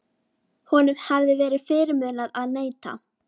Honum hafði verið fyrirmunað að neita.